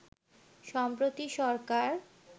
সম্প্রতি সরকার